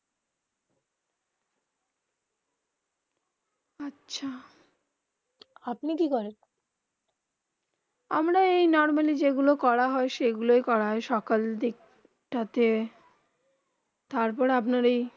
আচ্ছা আপনি কি করেন আমরা এই নরমালি যেই গুলু করা হয়ে সেই গুলু করা হয়ে সকাল দিকটাতে তার পর আপনার এই